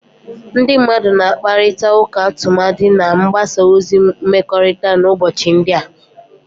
Ndị mmadụ na-akparịta ụka tumadi na mgbasa ozi mmekọrịta n'ụbọchị ndị a